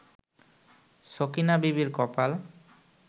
সকিনা বিবির কপাল